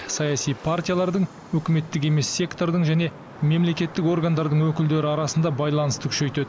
саяси партиялардың үкіметтік емес сектордың және мемлекеттік органдардың өкілдері арасында байланысты күшейтеді